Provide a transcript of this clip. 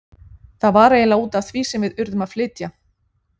Það var eiginlega út af því sem við urðum að flytja.